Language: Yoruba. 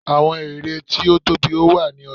àwọn ère tí tóbi ó wà ní ọja